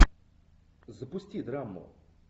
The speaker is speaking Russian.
запусти драму